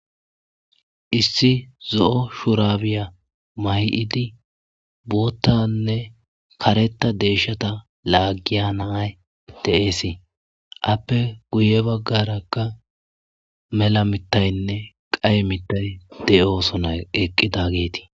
Issi zo'o shurabiya mayidi botha ne karetha desha lagiya na'ayi deyesi appe guye bagaraka mela mitayine qaye matayi deyisona eqidageti.